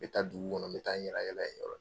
N bɛ taa dugu kɔnɔ n bɛ taa n yala yala yen yɔrɔ la.